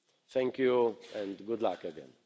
Thank you and good luck again.